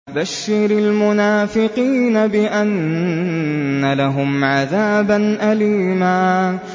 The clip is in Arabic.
بَشِّرِ الْمُنَافِقِينَ بِأَنَّ لَهُمْ عَذَابًا أَلِيمًا